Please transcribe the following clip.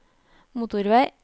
motorvei